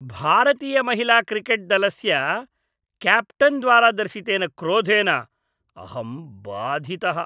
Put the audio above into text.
भारतीयमहिलाक्रिकेट्दलस्य क्याप्टेन्द्वारा दर्शितेन क्रोधेन अहं भाधितः।